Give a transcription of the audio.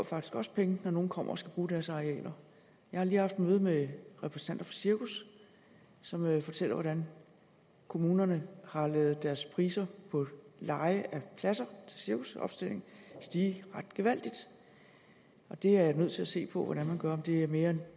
faktisk også penge når nogen kommer og skal bruge deres arealer jeg har lige haft møde med repræsentanter for cirkus som fortæller hvordan kommunerne har ladet deres priser på leje af pladser til cirkusopstilling stige ret gevaldigt det er jeg nødt til at se på hvordan man gør altså om det er mere